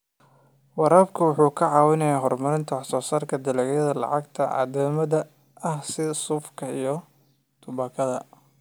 Waraabka wuxuu caawiyaa horumarinta wax soo saarka dalagyada lacagta caddaanka ah sida suufka iyo tubaakada.